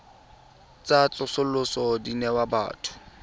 tsa tsosoloso di newa batho